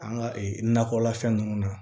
An ka ee nakɔlafɛn ninnu na